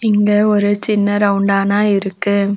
இங்க ஒரு சின்ன ரவுண்டானா இருக்கு.